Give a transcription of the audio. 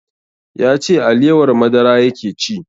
Ya ce alewar madara yake ci